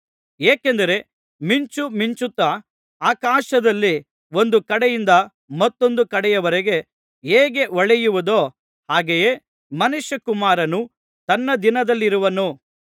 ಏಕೆಂದರೆ ಮಿಂಚು ಮಿಂಚುತ್ತಾ ಆಕಾಶದಲ್ಲಿ ಒಂದು ಕಡೆಯಿಂದ ಮತ್ತೊಂದು ಕಡೆಯವರೆಗೆ ಹೇಗೆ ಹೊಳೆಯುವುದೋ ಹಾಗೆಯೇ ಮನುಷ್ಯಕುಮಾರನು ತನ್ನ ದಿನದಲ್ಲಿರುವನು